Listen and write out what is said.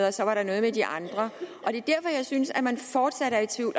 og så var der noget med de andre det er derfor jeg synes at man fortsat er i tvivl